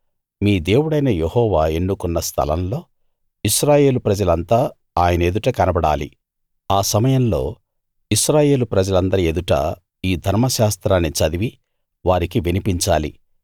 మీ దేవుడైన యెహోవా ఎన్నుకున్న స్థలంలో ఇశ్రాయేలు ప్రజలంతా ఆయన ఎదుట కనబడాలి ఆ సమయంలో ఇశ్రాయేలు ప్రజలందరి ఎదుట ఈ ధర్మశాస్త్రాన్ని చదివి వారికి వినిపించాలి